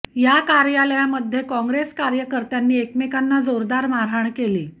या कार्यालयामध्ये काँग्रेस कार्यकर्त्यांनी एकमेकांना जोरदार मारहाण केली